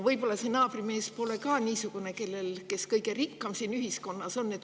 Võib-olla see naabrimees pole ka just kõige rikkam meie ühiskonnas.